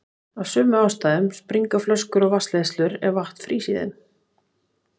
Af sömu ástæðum springa flöskur og vatnsleiðslur ef vatn frýs í þeim.